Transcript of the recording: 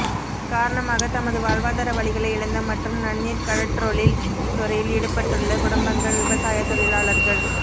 காரணமாக தமது வாழ்வாதார வழிகளை இழந்த மற்றும் நன்னீர் கடற்றொழில் துறையில் ஈடுபட்டுள்ள குடும்பங்கள் விவசாய தொழிலாளர்கள்